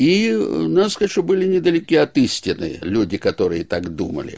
и надо сказать что были недалеки от истины люди которые так думали